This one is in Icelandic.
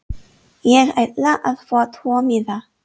Ég ætla að fá tvo miða.